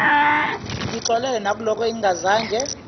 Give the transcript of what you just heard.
ngixolele nakulokho engingazange